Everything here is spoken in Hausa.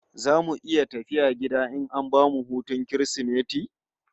Zamu iya tafiya gida in an bamu hutun Kirsimeti?